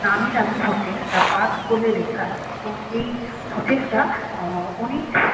নামি দামি hotel The Park বলে লেখা আছে এবং এই হোটেল -টা অনেক--